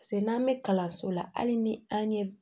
Paseke n'an bɛ kalanso la hali ni an ye